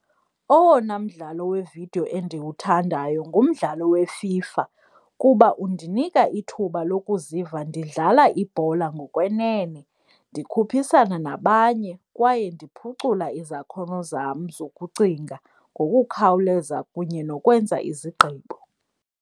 Owona mdlalo wevidiyo endiwuthandayo ngumdlalo weFIFA kuba undinika ithuba lokuziva ndidlala ibhola ngokwenene, ndikhuphisana nabanye kwaye ndiphucula izakhono zam zokucinga ngokukhawuleza kunye nokwenza izigqibo.